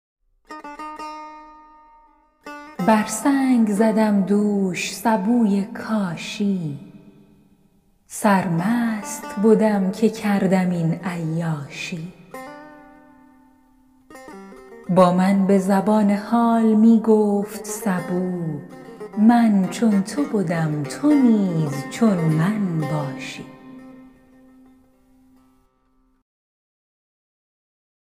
بر سنگ زدم دوش سبوی کاشی سرمست بدم که کردم این عیاشی با من به زبان حال می گفت سبو من چون تو بدم تو نیز چون من باشی